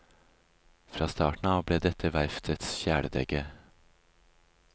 Fra starten av ble dette verftets kjæledegge.